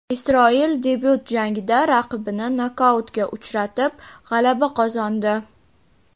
Isroil debyut jangida raqibini nokautga uchratib, g‘alaba qozondi.